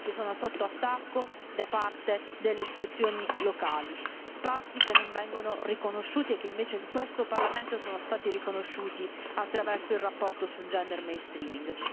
Spazi che sono sotto attacco da parte delle istituzioni locali, spazi che non vengono riconosciuti e che invece in questo Parlamento sono stati riconosciuti attraverso la relazione sul gender mainstreaming